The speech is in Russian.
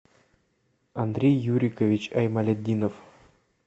андрей юрикович аймалетдинов